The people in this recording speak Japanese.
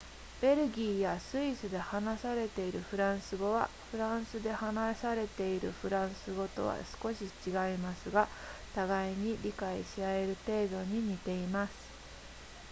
ベルギーやスイスで話されているフランス語はフランスで話されているフランス語とは少し違いますが互いに理解し合える程度に似ています